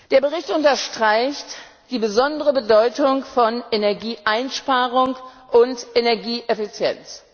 Der Bericht unterstreicht die besondere Bedeutung von Energieeinsparung und Energieeffizienz.